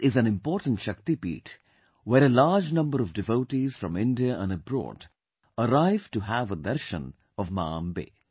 This is an important Shakti Peeth, where a large number of devotees from India and abroad arrive to have a Darshan of Ma Ambe